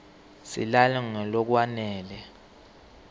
silale ngalokwanele